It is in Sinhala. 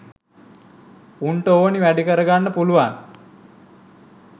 උන්ට ඕනි වැඩ කරගන්න පුළුවන්.